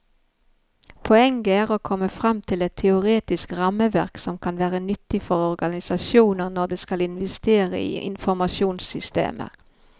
Poenget er å komme frem til et teoretisk rammeverk som kan være nyttig for organisasjoner når de skal investere i informasjonssystemer.